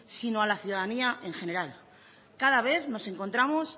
sino a la ciudadanía en general cada vez nos encontramos